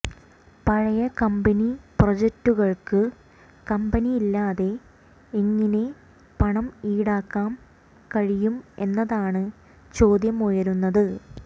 പഴയ കമ്പനി പ്രൊജെക്ടുകൾക്ക് കമ്പനി ഇല്ലാതെ എങ്ങിനെ പണം ഈടാക്കാൻ കഴിയും എന്നതാണ് ചോദ്യം ഉയരുന്നത്